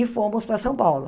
E fomos para São Paulo.